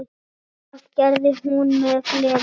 Það gerði hún með gleði.